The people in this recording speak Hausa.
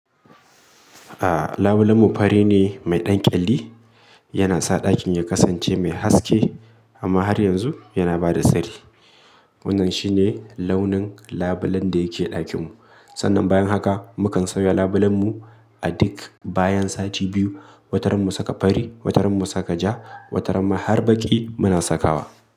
A labulen mu fari ne mai ɗan ƙyalli, yana sa ɗakin ya kasance mai haske amma har yanzu yana ba da sirri. Wannan shi ne launin labulen da yake ɗakin mu. Sannan bayan haka mu kan sauya labulen mu a duk bayan sati biyu, wataran mu saka fari, wataran mu saka ja, wataran ma harbaƙi muna sakawa.